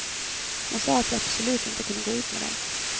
Hon sa att jag absolut inte kunde gå ut med dem.